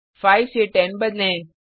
5 से 10 बदलें